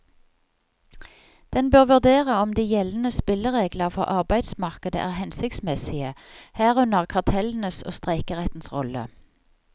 Den bør vurdere om de gjeldende spilleregler for arbeidsmarkedet er hensiktsmessige, herunder kartellenes og streikerettens rolle.